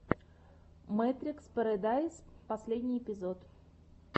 мэтрикс пэрэдайс последний эпизод